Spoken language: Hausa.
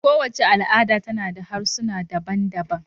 Kowace al'ada tana da harsuna daban-daban.